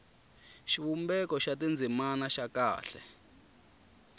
xivumbeko xa tindzimana xa kahle